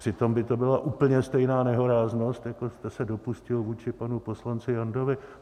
Přitom by to byla úplně stejná nehoráznost, jako jste se dopustil vůči panu poslanci Jandovi.